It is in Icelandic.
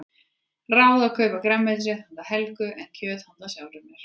Ráð að kaupa grænmetisrétt handa Helga en kjöt handa sjálfri mér.